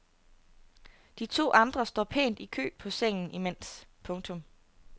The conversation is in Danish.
De to andre står pænt i kø på sengen imens. punktum